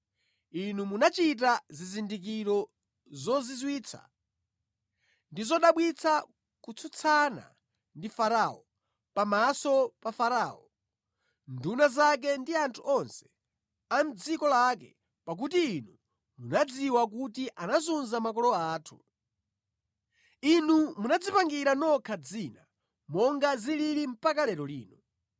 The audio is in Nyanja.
Inu munachita zizindikiro zozizwitsa ndi zodabwitsa kutsutsana ndi Farao, pamaso pa Farao, nduna zake ndi anthu onse a mʼdziko lake, pakuti Inu munadziwa kuti anazunza makolo athu. Inu munadzipangira nokha dzina, monga zilili mpaka lero lino.